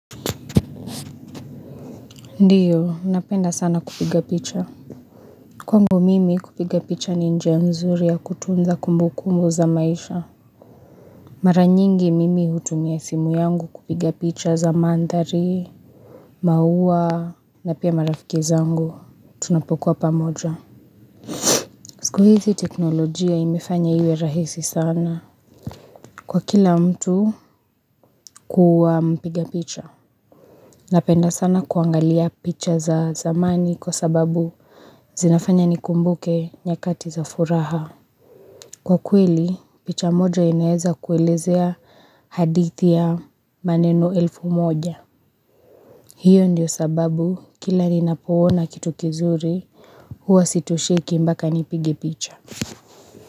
Ndiyo napenda sana kupiga picha kwangu mimi kupiga picha ni njia mzuri ya kutunza kumbukumu za maisha mara nyingi mimi hutumia simu yangu kupiga picha za mandhari maua na pia marafikizangu tunapokuwa pamoja siku hizi teknolojia imefanya iwe rahisi sana kwa kila mtu kuwa mpiga picha napenda sana kuangalia picha za zamani kwa sababu zinafanya ni kumbuke nyakati za furaha Kwa kweli picha moja inaweza kuelezea hadithi ya maneno elfu moja Hio ndio sababu kila ninapoona kitu kizuri huwa sitosheki mpaka nipige picha.